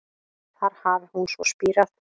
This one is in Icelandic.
Þar hafi hún svo spírað